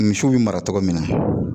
Misiw bɛ mara cogo min na